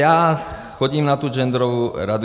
Já chodím na tu genderovou radu.